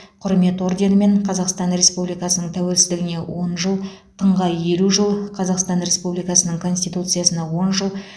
құрмет орденімен қазақстан республикасының тәуелсіздігіне он жыл тыңға елу жыл қазақстан республикасының конституциясына он жыл